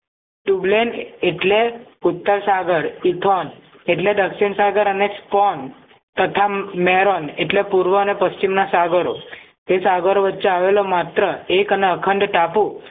ટ્યૂબલેન એટલે ઉત્તર સાગર પૃથોન એટલે દક્ષિણ સાગર અને સ્પોન તથા મેરન એટલે પૂર્વ અને પશ્ચિમના સાગરો તે સાગરો વચ્ચે આવેલા માત્ર એક અને અખંડ ટાપુ